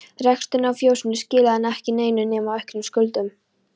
Reksturinn á fjósinu skilaði enn ekki neinu nema auknum skuldum.